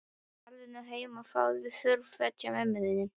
Farðu nú heim og fáðu þurr föt hjá mömmu þinni.